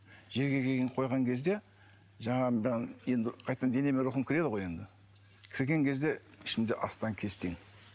жерге қойған кезде жаңағы енді қайтадан денеме рухым кіреді ғой енді кірген кезде ішімде астаң кестең